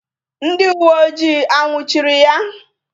Ndị uweojii a nnwuchiri ya?